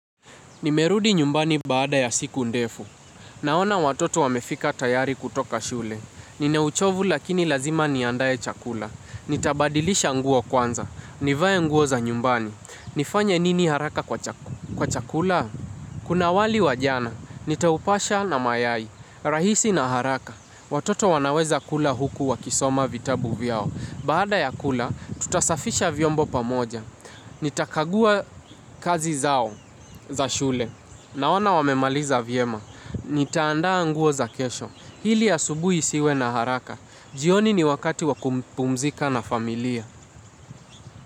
Nimerudi nyumbani baada ya siku ndefu. Naona watoto wamefika tayari kutoka shule. Nina uchovu lakini lazima niandaye chakula. Nitabadilisha nguo kwanza. Nivaye nguo za nyumbani. Nifanya nini haraka kwa chakula? Kuna wali wa jana. Nitaupasha na mayai. Rahisi na haraka. Watoto wanaweza kula huku wa kisoma vitabu vyao. Baada ya kula, tutasafisha vyombo pamoja. Nitakagua kazi zao za shule. Na ona wamemaliza vyema. Nitaandaa nguo za kesho. Hili asubui isiwe na haraka. Jioni ni wakati wakupumzika na familia.